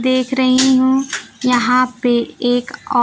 देख रही हूं यहां पे एक औ--